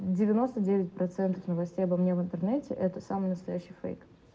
девяносто девять процентов новостей обо мне в интернете это самый настоящий фейк